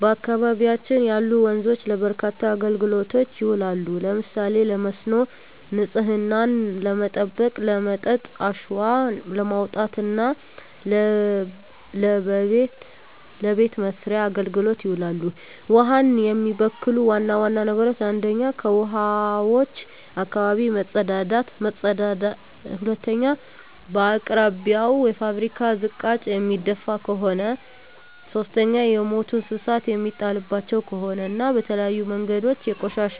በአካባቢያችን ያሉ ወንዞች ለበርካታ አገልግሎቶች ይውላሉ። ለምሳሌ ለመስኖ፣ ንጽህናን ለመጠበቅ፣ ለመጠጥ፣ አሸዋ ለማውጣት እና ለበቤት መሥርያ አገልግሎት ይውላሉ። ውሀን የሚበክሉ ዋና ዋና ነገሮች 1ኛ ከውሀዋች አካባቢ መጸዳዳት መጸዳዳት 2ኛ በአቅራቢያው የፋብሪካ ዝቃጭ የሚደፍ ከሆነ ከሆነ 3ኛ የሞቱ እንስሳት የሚጣልባቸው ከሆነ እና በተለያዩ መንገዶች ቆሻሻ